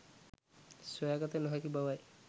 සොයාගත නොහැකි බවයි.